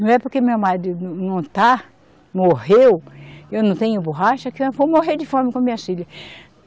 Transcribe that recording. Não é porque meu marido não, não está, morreu, que eu não tenho borracha, que eu vou morrer de fome com as minhas filhas.